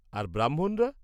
আর ব্রাহ্মণরা?